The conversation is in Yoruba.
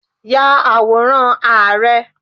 Ya àwòrán Ààrẹ!